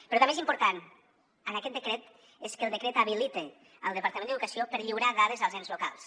però també és important en aquest decret que el decret habilita el departament d’educació per lliurar dades als ens locals